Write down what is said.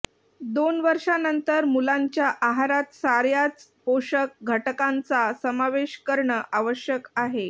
दोन वर्षांनंतर मुलांच्या आहारात सार्याच पोषक घटकांचा समावेश करणं आवश्यक आहे